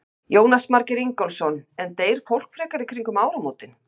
Jónas Margeir Ingólfsson: En deyr fólk frekar í kringum áramótin?